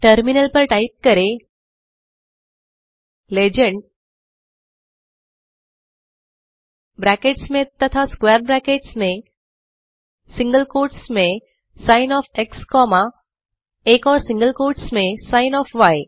terminal पर type करे legend brackets में तथा स्क़्वेर ब्रैकेट्स में सिंगल कोट्स में सिन ओएफ एक्स कॉमा एक और सिंगल कोट्स में सिन ओएफ य